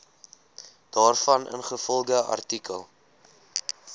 daarvan ingevolge artikel